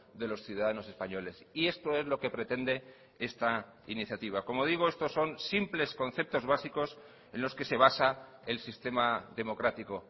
de los ciudadanos españoles y esto es lo que pretende esta iniciativa como digo estos son simples conceptos básicos en los que se basa el sistema democrático